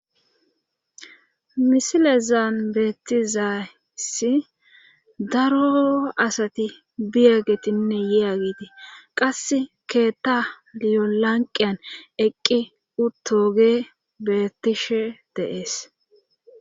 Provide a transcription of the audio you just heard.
misile zaan beetizaesi daro asati biyagetinne yeageti qas keetta liolanqiyan eqqi uttoge beettishe deees